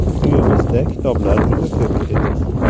Uyimizda kitoblar juda ko‘p edi.